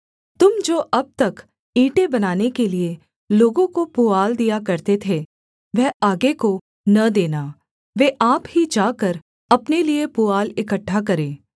तुम जो अब तक ईंटें बनाने के लिये लोगों को पुआल दिया करते थे वह आगे को न देना वे आप ही जाकर अपने लिये पुआल इकट्ठा करें